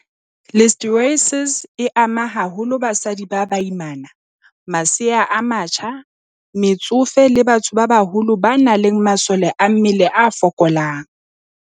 Listeriosis e ama haholo basadi ba baimana, masea a matjha, metsofe le batho ba baholo ba nang le masole a mmele a fokolang.